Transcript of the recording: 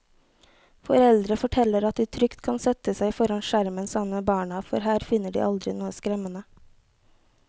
Foreldre forteller at de trygt kan sette seg foran skjermen sammen med barna, for her finner de aldri noe skremmende.